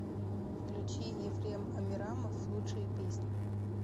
включи ефрем амирамов лучшие песни